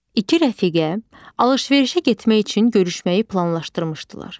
İki rəfiqə alış-verişə getmək üçün görüşməyi planlaşdırmışdılar.